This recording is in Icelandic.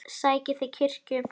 Sækið þið kirkju?